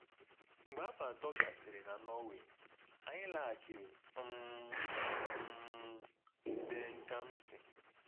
Mgbe afọ atọ gasịrị na Norway, anyị laghachiri um um DenKamsi.